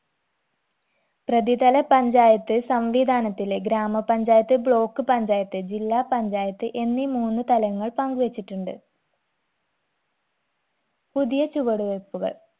പ്രതിതല പഞ്ചയാത്ത് സംവിധാനത്തിലെ ഗ്രാമപഞ്ചായത്ത് block പഞ്ചായത്ത് ജില്ലാ പഞ്ചായത്ത് എന്നീ മൂന്ന് തലങ്ങൾ പങ്ക് വെച്ചിട്ടുണ്ട് പുതിയ ചുവട് വെപ്പുകൾ